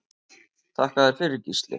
Þakka þér fyrir Gísli.